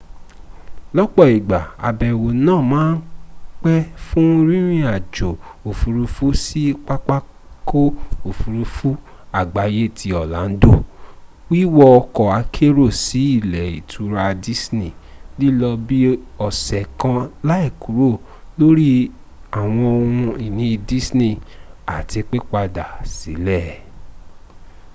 lọ́pọ̀ igba àbẹ̀wò náà màa ń pẹ fún rìnrìn-àjò òfuurufú sí pápákọ̀ òfuurufú àgbáyé ti orlando wíwọ ọkọ̀ akérò sí ilé ìtura disney lílọ bi ọ́sẹ́ kan láìkúrò lórí ́àwọǹ ohun-ìní disney àti pípadà sílẹ́